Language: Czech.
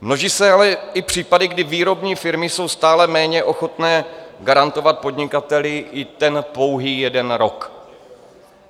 Množí se ale i případy, kdy výrobní firmy jsou stále méně ochotny garantovat podnikateli i ten pouhý jeden rok.